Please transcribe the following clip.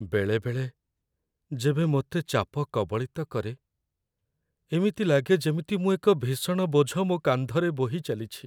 ବେଳେବେଳେ, ଯେବେ ମୋତେ ଚାପ କବଳିତ କରେ, ଏମିତି ଲାଗେ ଯେମିତି ମୁଁ ଏକ ଭୀଷଣ ବୋଝ ମୋ କାନ୍ଧରେ ବୋହି ଚାଲିଛି।